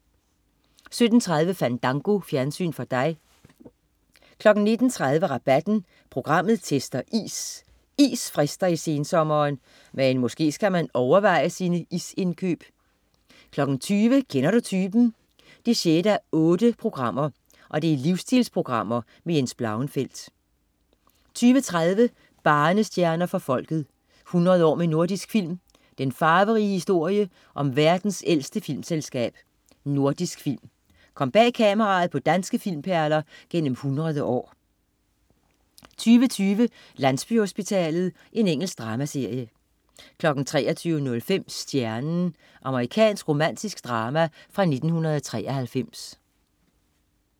17.30 Fandango. Fjernsyn for dig 19.30 Rabatten. Programmet tester is. Is frister i sensommeren. Men måske skal man overveje sine isindkøb 20.00 Kender du typen? 6:8. Livsstilprogram med Jens Blauenfeldt 20.30 Barnestjerner for Folket. 100 år med Nordisk Film. Den farverige historie om verdens ældste filmselskab: Nordisk Film. Kom bag kameraet på danske filmperler gennem 100 år 22.20 Landsbyhospitalet. Engelsk dramaserie 23.05 Stjernen. Amerikansk romantisk drama fra 1993